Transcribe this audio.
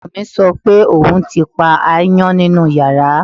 Ọmọ mi sọ pé òun ti pa aáyán nínú yàrá